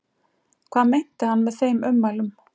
Hvað meinti hann með þeim ummælum?